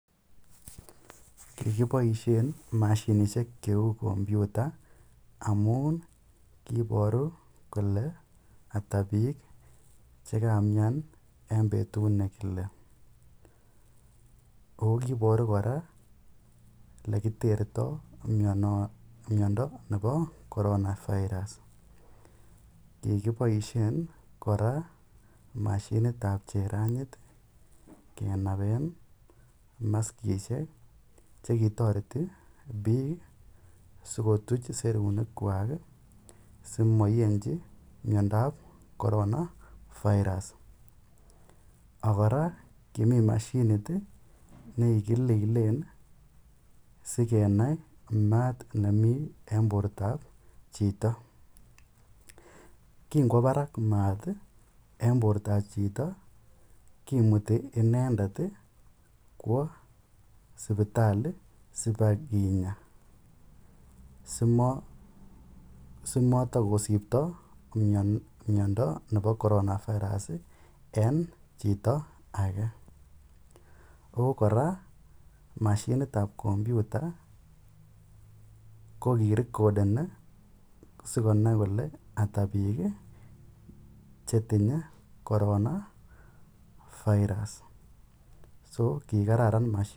Kikipaishen mashinishek cheu kompyuta amun kiiparu kole ata piik che kamian eng' petut ne kile. Ako kiiparu kole ole kotertai mindo nepo Corona Virus. Kikipaishen kora mashinit ap cheranit kenape maskishek che kitareti piik asikotuch serunek asimaiyenchi miondonap Corona Virus. Ak kora kimi mashinit ne kikililen asikenai maat nemi eng' porta ap chito. Kingowa parak maat ap porto eng' chito kimuti inendet sipitali si pa kinya asimatakosipta miondo nepa Corona virus eng' chito age. Ako kora, mashinit ap kompyuta ko kirekoden asiko nai kole ata piik che tinye Corona virus. So kikararan mashininotok.